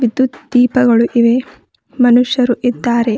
ವಿದ್ಯುತ್ ದೀಪಗಳು ಇವೆ ಮನುಷ್ಯರು ಇದ್ದಾರೆ.